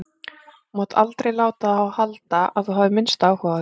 Þú mátt aldrei láta það halda að þú hafir minnsta áhuga á því.